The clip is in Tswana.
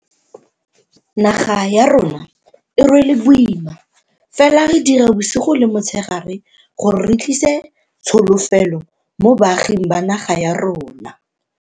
Naga ya rona e rwele boima, fela re dira bosigo le motshegare gore re tlise tsholofelo mo baaging ba naga ya rona.